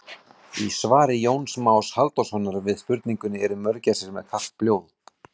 Í svari Jóns Más Halldórssonar við spurningunni Eru mörgæsir með kalt blóð?